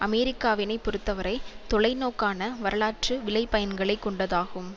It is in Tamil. அமெரிக்காவினை பொறுத்தவரை தொலைநோக்கான வரலாற்று விளைபயன்களைக் கொண்டதாகும்